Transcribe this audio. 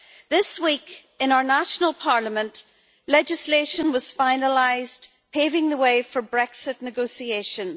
This week in our national Parliament legislation was finalised, paving the way for Brexit negotiations.